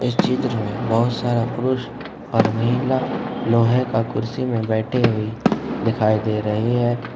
इस चित्र में बहुत सारा पुरुष और महिला लोहे का कुर्सी में बैठे हुए दिखाई दे रही है।